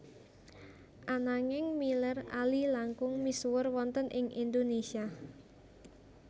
Ananging Miller Ali langkung misuwur wonten ing Indonésia